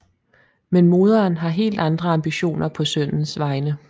Men moderen har helt andre ambitioner på sønnens vegne